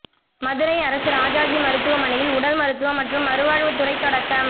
மதுரை அரசு ராஜாஜி மருத்துவமனையில் உடல் மருத்துவம் மற்றும் மறுவாழ்வுத்துறை தொடக்கம்